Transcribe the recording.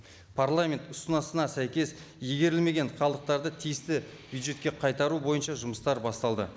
парламент ұсыныса сәйкес игерілмеген қалдықтарды тиісті бюджетке қайтару бойынша жұмыстар басталды